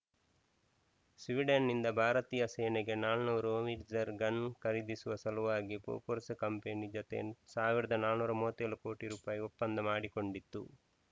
ಸ್ವೀಡನ್‌ನಿಂದ ಭಾರತೀಯ ಸೇನೆಗೆ ನಾಲ್ಕುನೂರು ಹೋವಿಟ್ಜರ್‌ ಗನ್‌ ಖರೀದಿಸುವ ಸಲುವಾಗಿ ಬೊಫೋರ್ಸ್‌ ಕಂಪನಿ ಜತೆ ಸಾವಿರದ ನಾಲ್ಕುನೂರ ಮೂವತ್ತ್ ಏಳು ಕೋಟಿ ರುಪಾಯಿ ಒಪ್ಪಂದ ಮಾಡಿಕೊಂಡಿತ್ತು